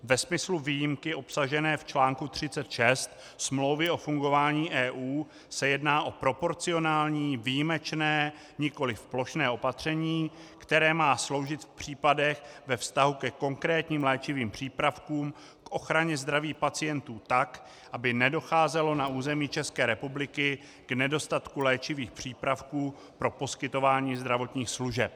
Ve smyslu výjimky obsažené v článku 36 Smlouvy o fungování EU se jedná o proporcionální, výjimečné, nikoli plošné opatření, které má sloužit v případech ve vztahu ke konkrétním léčivým přípravkům k ochraně zdraví pacientů tak, aby nedocházelo na území České republiky k nedostatku léčivých přípravků pro poskytování zdravotních služeb.